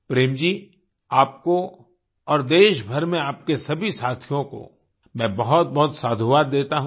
प्रेम जी आपको और देशभर में आपके सभी साथियों को मैं बहुतबहुत साधुवाद देता हूँ